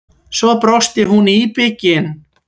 Svo brosti hún íbyggin.